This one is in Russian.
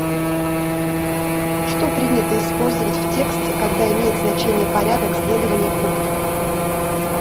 что принято использовать в тексте когда имеет значение порядок следования пунктов